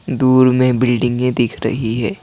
दूर में बिल्डिंगें दिख रही है।